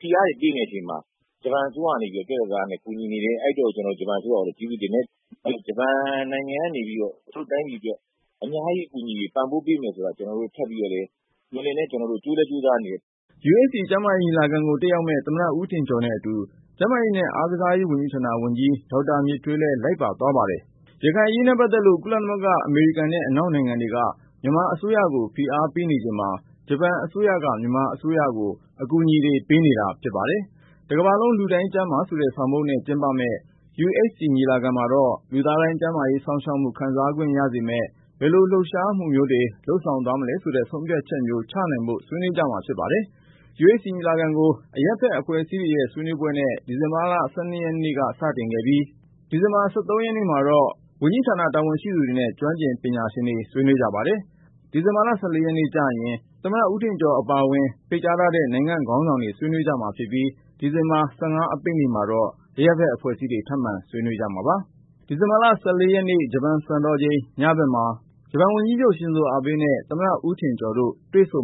ဖိအားတွေပေးနေတဲ့အချိန်မှာ ဂျပန်အစိုးရကနေပြီးတော့ ပြတ်ပြတ်သားသားနဲ့ ကူညီနေတယ်။ အဲဒါကြောင့် ဂျပန်အစိုးရကို ကျေးဇူးတင်တယ်။ ပြီးရင် ဂျပန်နိုင်ငံကနေပြီးတော့ ကျနော်တို့တိုင်းပြည်အတွက် အများကြီး ကူညီပံ့ပိုးပေးမယ်ဆိုတာ ကျနော်တို့မျှော်လင့်တယ် ထပ်ပြီးတော့လည်း ကြိုးစားနေပါတယ်။” UHC ကျန်းမာရေး ညီလာခံကို တက်ရောက်မယ့် သမ္မတ ဦးထင်ကျော်နဲ့အတူ ကျန်းမာရေးနဲ့ အားကစားရေးဝန်ကြီးဌာန ဝန်ကြီး ဒေါက်တာ မြင့်ထွေးလည်း လိုက်ပါသွားပါတယ်။ ရခိုင်ပြည်နယ်အရေးနဲ့ပတ်သက်လို့ ကုလသမဂ္ဂ၊ အမေရိကန်နဲ့ အနောက်နိုင်ငံတွေက မြန်မာအစိုးရကို ဖိအားပေးနေချိန်မှာ ဂျပန်အစိုးရက မြန်မာအစိုးရကို အကူအညီတွေ ပေးနေတာဖြစ်ပါတယ်။ တကမ္ဘာလုံး လူတိုင်းကျန်းမာ ဆိုတဲ့ဆောင်ပုဒ်နဲ့ ကျင်းပမယ့် UHC ညီလာခံမှာတော့ လူသားတိုင်း ကျန်းမာရေး စောင့်ရှောက်မှု ခံစားခွင့်ရ စေမယ့် ဘယ်လို လှုပ်ရှားမှုမျိုးတွေ လုပ်ဆောင်သွားမလဲဆိုတဲ့ ဆုံးဖြတ်ချက်မျိုး ချမှတ်နိုင်ဖို့ ဆွေးနွေးကြမှာဖြစ်ပါတယ်။ UHC ညီလာခံကို အရပ်ဖက်အဖွဲ့အစည်းတွေရဲ့ ဆွေးနွေးပွဲနဲ့ ဒီဇင်ဘာ ၁၂ ရက်နေ့မှာ စတင်ခဲ့ပြီး၊ ဒီဇင်ဘာလ ၁၃ ရက်နေ့မှာတော့ ဝန်ကြီးဌာန တာဝန်ရှိသူတွေနဲ့ ကျွမ်းကျင်ပညာရှင်တွေ ဆွေးနွေးကြပါတယ်။ ဒီဇင်ဘာ ၁၄ ရက်နေ့ကျရင် သမ္မတဦးထင်ကျော် အပါအဝင် ဖိတ်ကြားထားတဲ့ နိုင်ငံ့ခေါင်းဆောင်တွေ ဆွေးနွေးကြမှာဖြစ်ပြီး၊ ဒီဇင်ဘာ ၁၅ အပိတ်နေ့မှာတော့ အရပ်ဖက် အဖွဲ့အစည်းတွေ ထပ်မံဆွေးနွေးကြပါတယ်။ ဒီဇင်ဘာလ ၁၄ ရက် ဂျပန်စံတော်ချိန် ညပိုင်းမှာ သမ္မတဦးထင်ကျော်နဲ့ ဂျပန်ဝန်ကြီးချုပ် ရှင်ဇိုအာဘေးတို့ တွေ့ဆုံ